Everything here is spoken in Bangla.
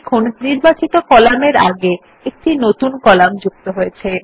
দেখুন নির্বাচিত সেল কলামের আগে একটি নতুন কলাম যুক্ত হয়েছে